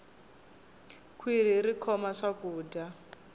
khwirhi ri khoma swakudya